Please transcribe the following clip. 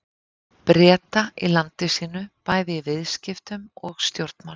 Breta í landi sínu bæði í viðskiptum og stjórnmálum.